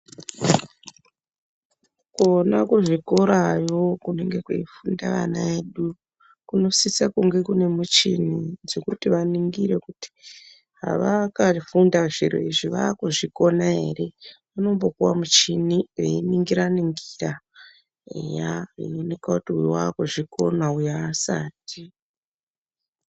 Kona kuzvikorayo kunenge kweifunda vana vedu kunosisa kunge kunemuchini dzekuti vaningire kuti havakafunda zviro izvi vakuzvikona ere. Vanombopuwa muchini veiningira ningira eya zveioneka kuti uyu wakuzvikona uyu hasati.